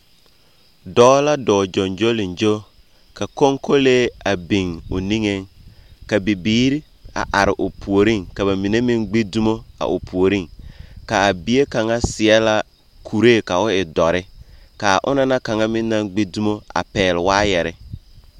Dɔɔ la dɔɔ gyoŋgyoliŋgyo, ka koŋkolee biŋ o niŋeŋ, ka bibiiri are o puoriŋ, mine meŋ gbi dumo a o puoriŋ. Kaa bie kaŋa seɛ la kuree ka o e dɔre. Ka a ona na kaŋa meŋ naŋ gbi dumo pɛgele waayɛre.